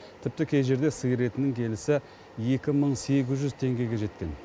тіпті кей жерде сиыр етінің келісі екі мың сегіз жүз теңгеге жеткен